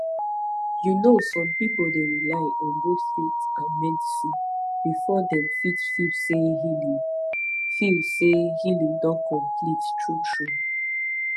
you know some people dey rely on both faith and medicine before dem fit feel say healing feel say healing don complete truetrue